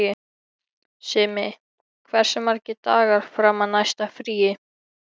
Simmi, hversu margir dagar fram að næsta fríi?